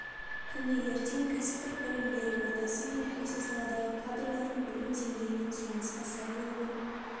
күні ертең кәсіптік білім беру ордасы мен осы саладағы кадрлардың білім деңгейінің сұранысқа сай болуын